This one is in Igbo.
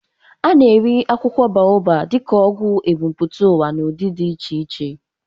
A na-eri akwụkwọ Baobu dịka ọgwụgwọ ebumpụta ụwa n'ụdị dị iche iche.